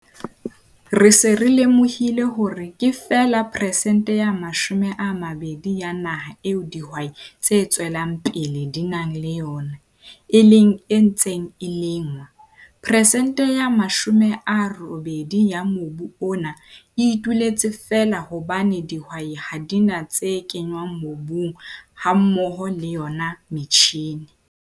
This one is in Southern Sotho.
Re se re lemohile hore ke feela peresente ya 20 ya naha eo dihwai tse tswelang pele di nang le yona, e leng e ntseng e lengwa. Peresente ya 80 ya mobu ona e ituletse feela hobane dihwai ha di na tse kenngwang mobung hammoho le yona metjhine.